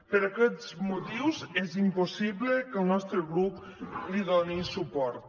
per aquests motius és impossible que el nostre grup li doni suport